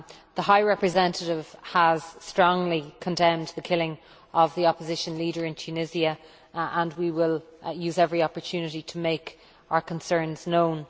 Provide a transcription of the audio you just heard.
The High Representative has strongly condemned the killing of the Opposition leader in Tunisia and we will use every opportunity to make our concerns known.